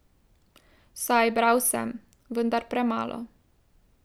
Saj bral sem, vendar premalo.